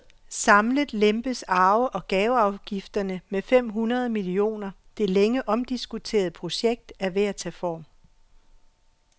Samlet lempes arve og gaveafgifterne med fem hundrede millioner Det længe omdiskuterede projekt er ved at tage form.